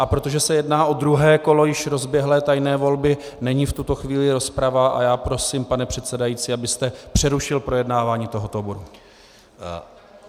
A protože se jedná o druhé kolo již rozběhlé tajné volby, není v tuto chvíli rozprava a já prosím, pane předsedající, abyste přerušil projednávání tohoto bodu.